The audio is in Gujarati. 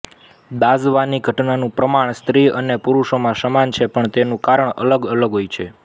દાઝવાની ઘટનાનું પ્રમાણ સ્ત્રી અને પુરુષોમાં સમાન છે પણ તેનું કારણ અલગ અલગ હોય છે